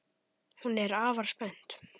Hún er afar spennt.